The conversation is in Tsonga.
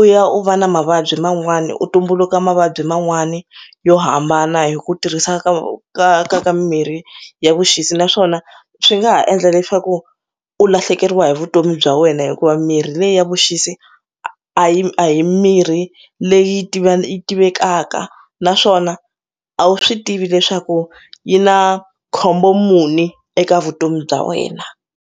u ya u va na mavabyi man'wani u tumbuluka mavabyi man'wani yo hambana hi ku tirhisa ka u ka ka ka mimirhi ya vuxisi naswona swi nga ha endla leswaku u lahlekeriwa hi vutomi bya wena hikuva mirhi leyi ya vuxisi a hi a hi mirhi leyi tiva yi tivekaka naswona a wu swi tivi leswaku yi na khombo mune eka vutomi bya wena.